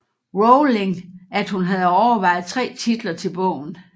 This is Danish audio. Rowling at hun havde overvejet tre titler til bogen